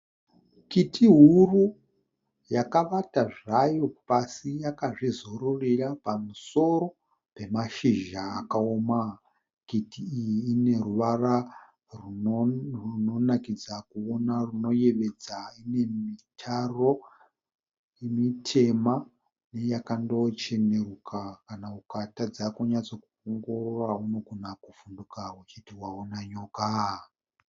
Kiti huru yakavata zvayo pasi yakazvizororera pamusoro pemashizha akaoma. Kiti iyi ine ruvara runonakidza kuona runoyevedza. Ine mitaro mitema yakandocheneruka kana ukatadza kunyatsoongorora unogona kuvhunduka uchiti wawana nyoka.